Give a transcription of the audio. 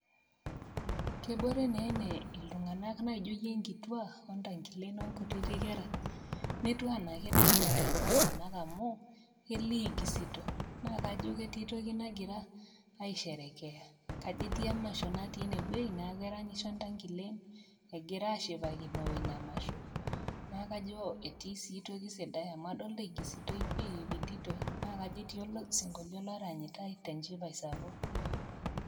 Kebore nee ene iltung'anak naijo nkituak, ontank'ilen onkutiti kera netiu anaa ketiplshipate kulo tung'anak amu kelio ekusito, kelio ajo ketii toki nagira ai sherekea, kajo etii emasho natii inewueji na keranyisho ntankilen egira ashipakino ina masho neaku kajo etii sii toki sidai na kajo ketii osinkolio oranyitai tenchipae sapuk.